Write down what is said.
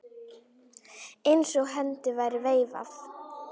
Eins og hendi væri veifað.